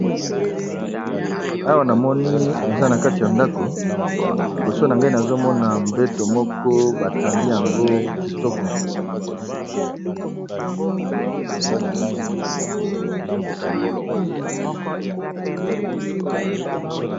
Awa na moni eza na kati ya ndako liboso na gai nazomona mbeto moko batandi yango kitoko.